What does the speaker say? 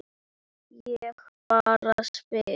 Ég bara spyr.